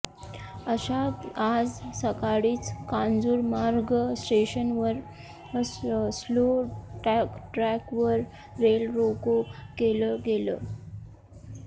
अशात आज सकाळीच कांजूरमार्ग स्टेशनवर स्लो ट्रॅकवर रेल रोको केलं गेलं